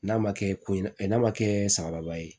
N'a ma kɛ n'a ma kɛ sababa ye